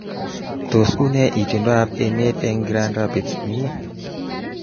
Tos, unee itondoab emet eng Grand Rapids Mi?